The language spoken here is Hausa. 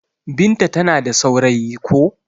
Binta ta na da saurayi ko.